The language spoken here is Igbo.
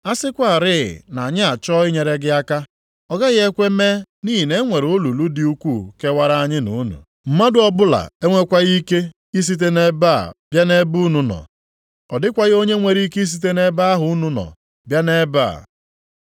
A sịkwarị na anyị achọọ inyere gị aka, ọ gaghị ekwe mee nʼihi na e nwere olulu dị ukwuu kewara anyị na unu. Mmadụ ọbụla enwekwaghị ike isite nʼebe a bịa nʼebe unu nọ, ọ dịkwaghị onye nwere ike isite nʼebe ahụ unu nọ bịa nʼebe a.’